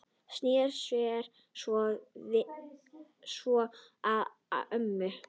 Sneri sér svo að mömmu.